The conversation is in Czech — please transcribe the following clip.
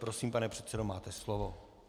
Prosím, pane předsedo, máte slovo.